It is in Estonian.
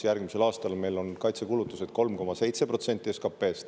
Järgmisel aastal meil on kaitsekulutused 3,7% SKP-st.